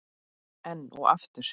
Enn og aftur?